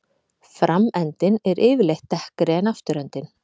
Framendinn er yfirleitt dekkri en afturendinn.